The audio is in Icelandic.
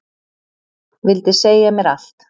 Vildi segja mér allt.